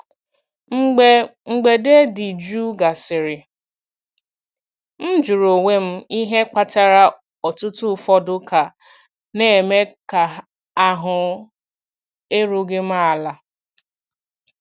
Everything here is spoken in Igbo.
Mgbe mgbede dị jụụ gasịrị, m jụrụ onwe m ihe kpatara otuto ụfọdụ ka na-eme ka ahụ erughị m ala.